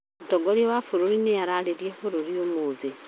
Mũtongoria wa bũrũri nĩararĩria bũruri ũmũthĩ